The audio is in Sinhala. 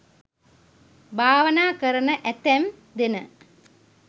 භාවනා කරන ඇතැම් දෙන